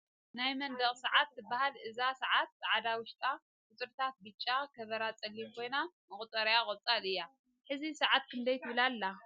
ናይ መንደቅ ሰዓት ትበሃል እዛ ሰዓት ፃዕዳ ዉሽጣ፣ ቁፅሪታታ ቢጫ ፣ ከቨራ ፀሊም ኮይና መቁፀሪኣ ቆፃል እያ ። ሕዚ ሰዓት ክንደይ ትብል ኣላ ?